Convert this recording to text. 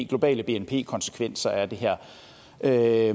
globale bnp konsekvenser af det her er